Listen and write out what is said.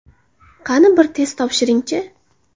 Qani, bir test topshiring-chi!